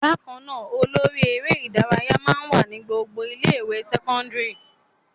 Bákan náà, olórí eré-ìdárayá máa ń wà ní gbogbo ilé-ìwé sẹ́kọ́ndárì.